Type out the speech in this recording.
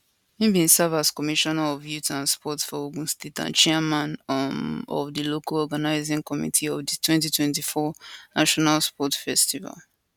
im bin serve as commissioner of youth and sports for ogun state and chairman um of di local organising committee of di 2024 national sports festival